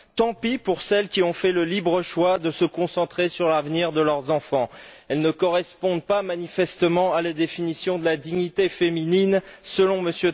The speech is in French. Tant pis pour celles qui ont fait le libre choix de se concentrer sur l'avenir de leurs enfants, elles ne correspondent manifestement pas à la définition de la dignité féminine selon M.